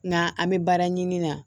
Nga an be baara ɲini na